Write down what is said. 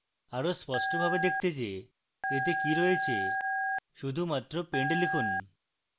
আরো স্পষ্টভাবে দেখতে যে এতে কি রয়েছে শুধুমাত্র pend লিখুন